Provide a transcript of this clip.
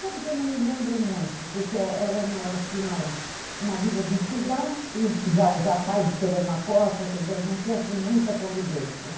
Sabe que eu não me lembro muito, porque era, uma assim, uma uma vida de estudar e já já o pai esperando na porta, quer dizer, não tinha, assim, muita convivência, né?